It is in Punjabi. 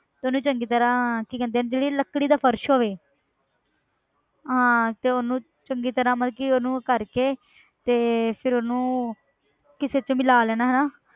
ਤੇ ਉਹਨੂੰ ਚੰਗੀ ਤਰ੍ਹਾਂ ਕੀ ਕਹਿੰਦੇ ਇਹਨੂੰ ਜਿਹੜੀ ਲੱਕੜੀ ਦਾ ਫ਼ਰਸ਼ ਹੋਵੇ ਹਾਂ ਤੇ ਉਹਨੂੰ ਚੰਗੀ ਤਰ੍ਹਾਂ ਮਤਲਬ ਕਿ ਉਹਨੂੰ ਕਰਕੇ ਤੇ ਫਿਰ ਉਹਨੂੰ ਕਿਸੇ 'ਚ ਮਿਲਾ ਲੈਣਾ ਹਨਾ